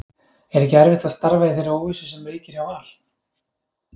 Er ekki erfitt að starfa í þeirri óvissu sem ríkir hjá Val?